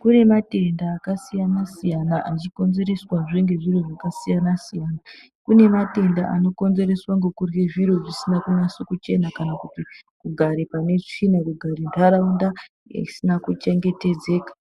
Kunematenda akasiyana siyana achikonzereswa zvengezvinhu zvakasiyana siyana, kunematenda anokonzereswa ngokudye zviro zvisina kunyaso kuchena kana kuti kugare panetsvina, kugare muntaraunda isina kuchengetedzeka.